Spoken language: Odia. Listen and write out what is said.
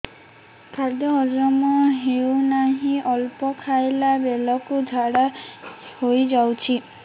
ଖାଦ୍ୟ ହଜମ ହେଉ ନାହିଁ ଅଳ୍ପ ଖାଇଲା ବେଳକୁ ଝାଡ଼ା ହୋଇଯାଉଛି